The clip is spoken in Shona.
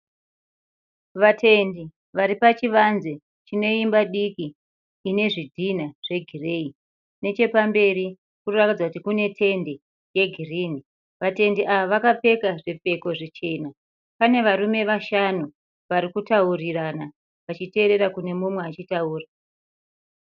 Vatendi varipachivanze chineimba diki chine zvidhinha zvegireyi, nechepamberi kunoratidza kuti kune tende yegirinhi. Vatendi ava akapfeka zvipfeko zvichena. Pane varume vashanu varikutaurirana , vachiteerera kune mumwe ari kutaura.